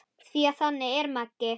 Því að þannig er Maggi.